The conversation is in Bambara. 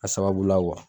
A sababu la